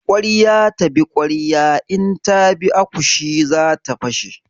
Ƙwarya ta bi ƙwarya in ta bi akushi zata fashe.